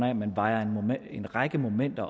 at